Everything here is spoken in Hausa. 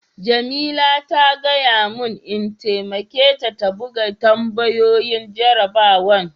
Jamila ta gaya mun n'taimake ta buga tambayoyin jarabawan.